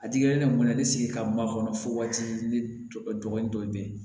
A digilen ne kun na ne sigi ka ma kɔnɔ fo waati ne tɔgɔ ni tɔw bɛ yen